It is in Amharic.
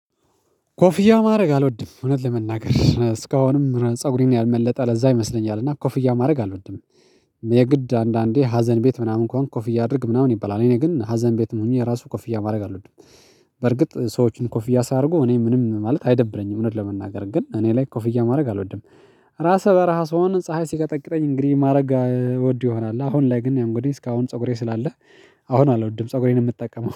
ኮፊያ ማድረግ አልወድም እውነት ለመናገር እስካሁንም ፀጉሬን ያልመለጠ ለዛ ይመስለኛል እና ኮፍያ ማድረግ አልወድም። የግድ አንዳንዴ ሀዘን ቤት ምናምን ከሆንክ ኮፍያ አድርግ ምናምን ይባላል እኔ ግን ሀዘን ቤትም ሆኜ ራሱ ኮፍያ ማድረግ አልወድም። በርግጥ ሰዎችን ኮፍያ ሲያደርጉ እኔ ምንም ማለት አይደብረኝም እውነት ለመናገር ግን እኔ ላይ ኮፍያ ማድረግ አልወድም። ራሰ በረሃ ስሆን ፀሀይ ሲቀጠቅጠኝ እንግዲህ ማድረግ እወድ ይሆናል አሁን ላይ ግን እንግዲህ እስካሁን ፀጉሬ ስላለ። አሁን አልወድም ፀጉሬን ነው የምጠቀመው